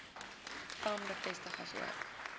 vam bevestig asook